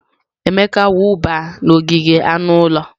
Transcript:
Emeka wụba n'ogige anụ ụlọ.